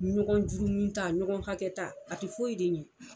Ɲɔgɔn jurumi ta, ɲɔgɔn hakɛ ta, a tɛ foyi de ɲɛ.